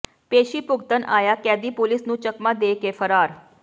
ਪੇਸ਼ੀ ਭੁਗਤਣ ਆਇਆ ਕੈਦੀ ਪੁਲਿਸ ਨੂੰ ਚਕਮਾ ਦੇ ਕੇ ਫਰਾਰ